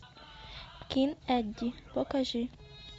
кин эдди покажи